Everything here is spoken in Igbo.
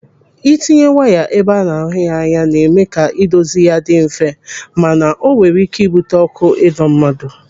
Ịtinye waya ebe a na-ahụ anya, na-eme ka ịdozi ya dị mfe, mana o nwere ị́kẹ́ ibute ọkụ ịdọ mmadụ.